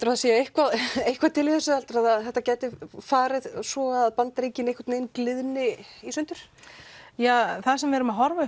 að það sé eitthvað eitthvað til í þessu að það gæti farið svo að Bandaríkin gliðni í sundur það sem við erum að horfa